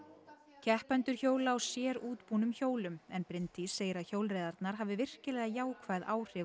keppendur hjóla á sérútbúnum hjólum en Bryndís segir að hjólreiðarnar hafi virkilega jákvæð áhrif á